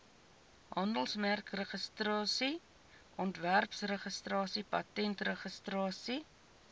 handelsmerkregistrasie ontwerpregistrasie patentregistrasie